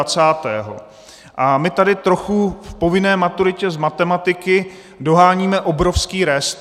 A my tady trochu v povinné maturitě z matematiky doháníme obrovský rest.